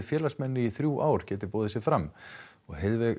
félagsmenn í þrjú ár geta boðið sig fram